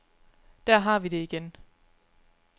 Der har vi det igen.